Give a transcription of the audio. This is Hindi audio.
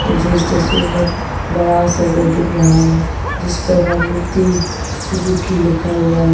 मुझे इस तस्वीर में एक बड़ा सा घर दिख रहा है जिस पर मारुति सुजुकी लिखा हुआ है।